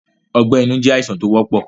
Ọgbẹ́ inú jẹ́ àìsàn tó wọ́pọ̀